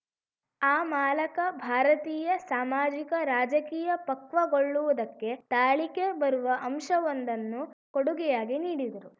ಆ ಮಾಲಕ ಭಾರತೀಯ ಸಾಮಾಜಿಕರಾಜಕೀಯ ಪಕ್ವಗೊಳ್ಳುವುದಕ್ಕೆ ತಾಳಿಕೆ ಬರುವ ಅಂಶವೊಂದನ್ನು ಕೊಡುಗೆಯಾಗಿ ನೀಡಿದರು